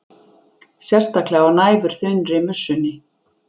Sérstaklega á næfurþunnri mussunni.